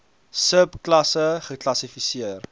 sub klasse geklassifiseer